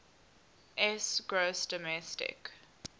s gross domestic